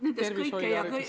Tervishoid ja haridus.